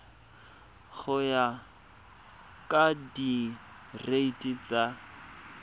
go ya ka direiti tsa